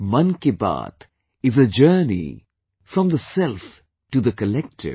'Mann Ki Baat' is a journey from the self to the collective